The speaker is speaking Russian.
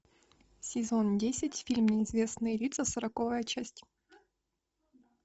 сезон десять фильм неизвестные лица сороковая часть